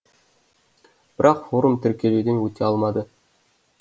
бірақ форум тіркелуден өте алмады